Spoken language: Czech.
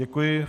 Děkuji.